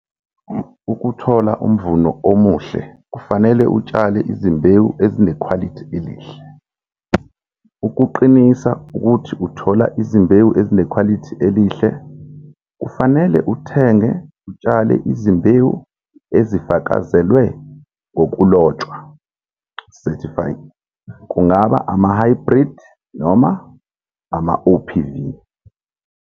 Ukuthola umvuno omuhle, kufanele utshale izimbewu ezinekhwailithi elihle. Ukuqinisa ukuthi uthola izimbewu ezinekhwalithi elihle, kufanele uthenge utshale izimbewu ezifakazelwe ngokulotshwa, certified, - kungaba amahhayibhridi noma ama-OPV.